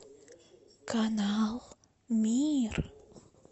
канал мир